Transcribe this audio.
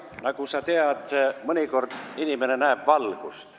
Nagu sa tead, mõnikord inimene näeb valgust.